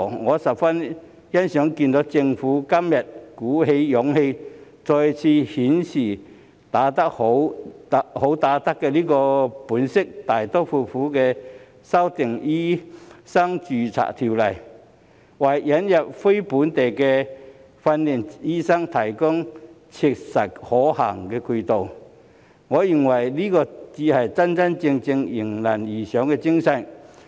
我十分欣賞政府今天能鼓起勇氣，再次顯示"好打得"的本色，大刀闊斧地修訂條例，為引入非本地訓練醫生提供切實可行的渠道，我認為這才是真正迎難而上的精神。